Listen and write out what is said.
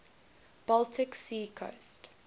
baltic sea coast